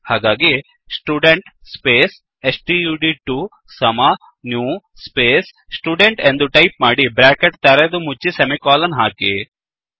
ಹಾಗಾಗಿ student space ಸ್ಟಡ್2 ಸಮ ನ್ಯೂ ಸ್ಪೇಸ್ ಸ್ಟುಡೆಂಟ್ ಎಂದು ಟೈಪ್ ಮಾಡಿ ಬ್ರ್ಯಾಕೆಟ್ ತೆರೆದು ಮುಚ್ಚಿ ಸೆಮಿಕೋಲನ್ ಹಾಕಿ